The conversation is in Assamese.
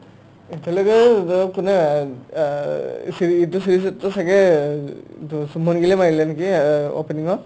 এতিয়ালৈকে কোনে ছাগে শুভমান গিলে মাৰিলে নেকি এ opening ত